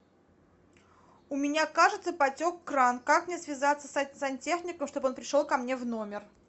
у меня кажется потек кран как мне связаться с сантехником чтобы он пришел ко мне в номер